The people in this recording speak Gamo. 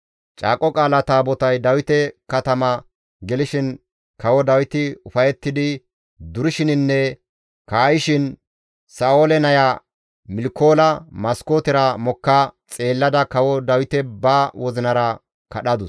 Caaqo Qaala Taabotay Dawite katama gelishin kawo Dawiti ufayettidi durishininne kaa7ishin Sa7oole naya Milkoola maskootera mokka xeellada kawo Dawite ba wozinara kadhadus.